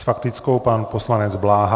S faktickou pan poslanec Bláha.